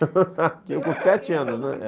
Tinha com sete anos, né?